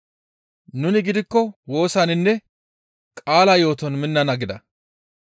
Nuni gidikko woosaninne qaalaa yooton minnana» gida.